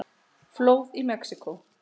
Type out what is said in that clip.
Flóð í Mexíkó